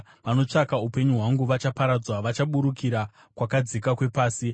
Vanotsvaka upenyu hwangu vachaparadzwa; vachaburukira kwakadzika kwepasi.